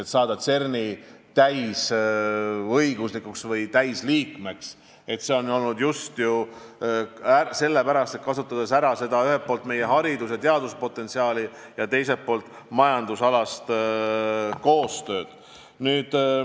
Me tahame saada CERN-i täisliikmeks ja seda just sellepärast, et soovime ühelt poolt ära kasutada meie haridus- ja teaduspotentsiaali ja teiselt poolt teha majandusalast koostööd.